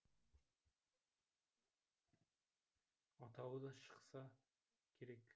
атауы да шықса керек